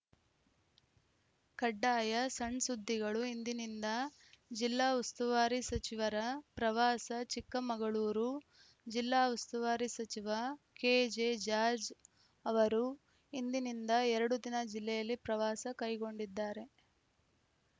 ಕಡ್ಡಾಯ ಸಣ್‌ ಸುದ್ದಿಗಳು ಇಂದಿನಿಂದ ಜಿಲ್ಲಾ ಉಸ್ತುವಾರಿ ಸಚಿವರ ಪ್ರವಾಸ ಚಿಕ್ಕಮಗಳೂರು ಜಿಲ್ಲಾ ಉಸ್ತುವಾರಿ ಸಚಿವ ಕೆಜೆ ಜಾರ್ಜ್ ಅವರು ಇಂದಿನಿಂದ ಎರಡು ದಿನ ಜಿಲ್ಲೆಯಲ್ಲಿ ಪ್ರವಾಸ ಕೈಗೊಂಡಿದ್ದಾರೆ